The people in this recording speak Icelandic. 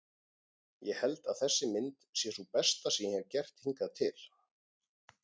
Ég held að þessi mynd sé sú besta sem ég hefi gert hingað til.